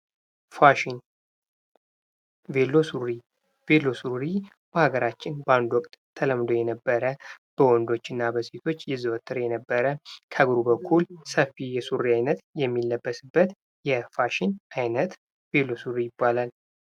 ፋሽን ። ቤሎ ሱሪ ፡ ቤሎ ሱሪ በሀገራችን በአንድ ወቅት ተለምዶ የነበረ በወንዶች እና በሴቶች ይዘወተር የነበረ ከእግሩ በኩል ሰፊ የሱሪ አይነት የሚለበስበት የፋሽን አይነት ቤሎ ሱሪ ይባላል ።